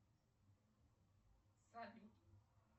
салют